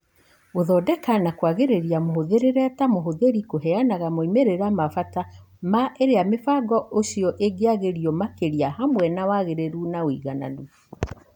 Gũthondeka na kũagĩria mũhũthĩrĩre ta mũhũthĩri kũheanaga moimĩrĩra ma bata ma ĩrĩa mũbango ũcio ĩngĩagĩrio makĩria hamwe na wagĩrĩru na ũigananu.